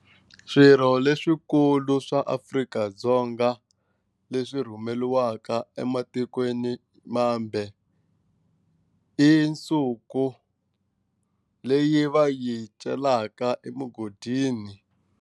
Swirho leswikulu swa Afrika-Dzonga leswi rhumeriwaka ematikweni mambe i nsuku leyi va yi celaka emugodini.